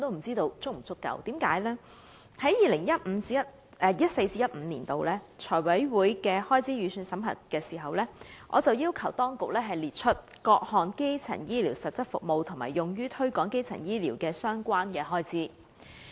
在 2014-2015 年度，當財委會審核開支預算時，我曾要求當局列出各項基層醫療實質服務和用於推廣基層醫療服務的相關開支。